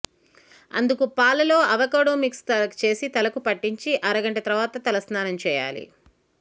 అందుకు పాలలో avocado mix చేసి తలకు పట్టించి అరగంట తర్వాత తలస్నానంచేయాలి